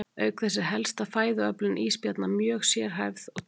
Auk þess er helsta fæðuöflun ísbjarna mjög sérhæfð og tengd hafís.